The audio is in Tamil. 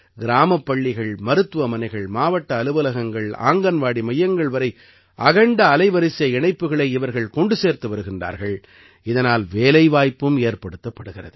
கிராமப் பள்ளிகள் மருத்துவமனைகள் மாவட்ட அலுவலகங்கள் ஆங்கன்வாடி மையங்கள் வரை அகண்ட அலைவரிசை இணைப்புக்களை இவர்கள் கொண்டு சேர்த்து வருகிறார்கள் இதனால் வேலைவாய்ப்பும் ஏற்படுத்தப்படுகிறது